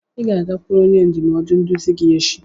Ị ga-agakwuru onye ndụmọdụ nduzi gị echi!